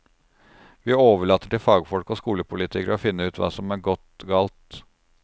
Vi overlater til fagfolk og skolepolitikere å finne ut hva som er gått galt.